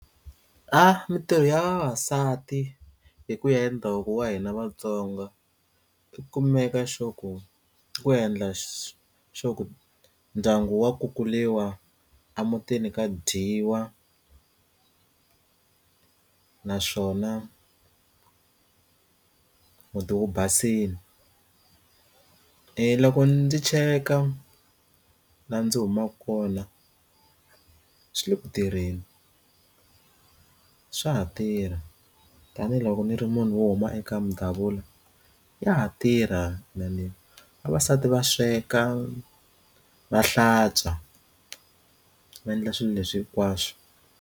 Ah mintirho ya vavasati hi ku ya ndhavuko wa hina vatsonga kumeka xo ku ku endla xo ku ndyangu wa kukuriwa emutini ka dyiwa naswona muti wu basile i loko ndzi cheka la ndzi humaka kona swi le ku tirheni ku swa ha tirha tanihiloko ndzi ri munhu wo huma eka mindhavuko ya ha tirha vavasati va sweka va hlantswa va endla swilo leswi hinkwaswo.